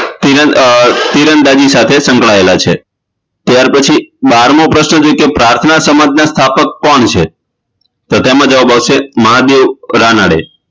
તીરંદા તીરંદાજી સાથે સંકળાયેલા છે ત્યાર પછી બારમો પ્રશ્ન એ છે કે પ્રાથના સમાજના સ્થાપક કોણ છે તો તેમા જવાબ છે મહાદેવ રાણાદે